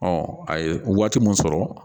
a ye waati mun sɔrɔ